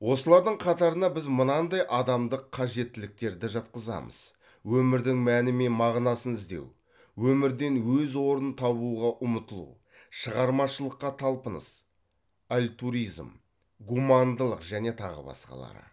осылардың қатарына біз мынандай адамдық қажеттіліктерді жатқызамыз өмірдің мәні мен мағынасын іздеу өмірден өз орнын табуға ұмытылу шығармашылыққа талпыныс гумандылық және тағы басқалары